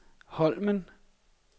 Holmen